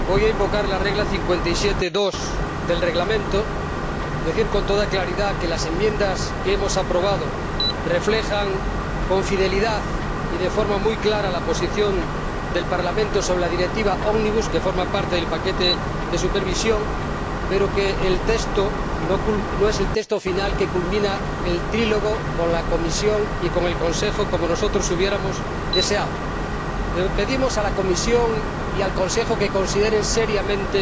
Señora Presidenta, voy a invocar el artículo 57, apartado 2, del Reglamento para decir, con toda claridad, que las enmiendas que hemos aprobado reflejan con fidelidad y de forma muy clara la posición del Parlamento sobre la Directiva ómnibus, que forma parte del paquete de supervisión, pero que el texto no es el texto final que culmina el trílogo con la Comisión y con el Consejo, como nosotros habríamos deseado. Pedimos a la Comisión y al Consejo que consideren seriamente